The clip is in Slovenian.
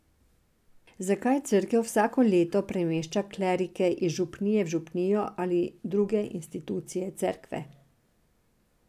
Zakaj cerkev vsako leto premešča klerike iz župnije v župnijo ali v druge institucije cerkve?